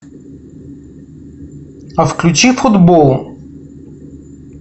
а включи футбол